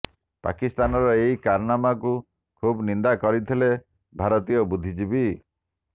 ପାକିସ୍ତାନର ଏହି କାରାନାମାକୁ ଖୁବ ନିନ୍ଦା କରିଥିଲେ ଭାରତୀୟ ବୁଦ୍ଧିଜୀବୀ